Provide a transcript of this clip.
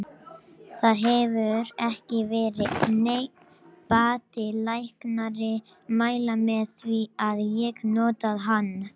Það hefur ekki verið neinn bati og læknarnir mæla með því að ég noti hann.